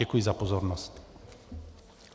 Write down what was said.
Děkuji za pozornost.